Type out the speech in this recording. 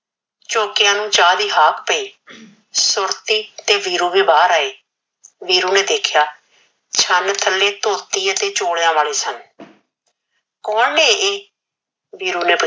ਝੋਕਿਆ ਨੂ ਚਾ ਦੀ ਹਾਕ ਪੇਈ ਸੁਰਤੀ ਤੇ ਵੀਰੂ ਵੀ ਬਹਾਰ ਆਏ ਵੀਰੂ ਨੇ ਦੇਖਿਆ ਛਨ ਥਲੇ ਤੋਤੀ ਅਤੇ ਝੋਲਿਆ ਵਾਲੇ ਸਨ ਕੋਣ ਨੇ ਇਹ ਵੀਰੂ ਨੇ ਪੁਛਿਆ